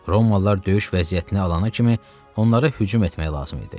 Romalılar döyüş vəziyyətinə alana kimi onlara hücum etmək lazım idi.